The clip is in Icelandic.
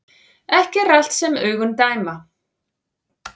Ekki er allt sem augun dæma